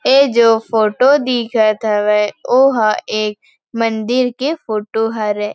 ऐ जो फोटो दिखत हवे ओहा एक मंदिर के फोटो हरे।